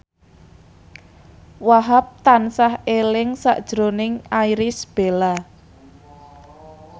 Wahhab tansah eling sakjroning Irish Bella